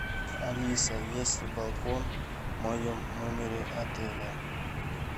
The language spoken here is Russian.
алиса есть ли балкон в моем номере отеля